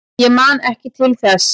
Ég man ekki til þess.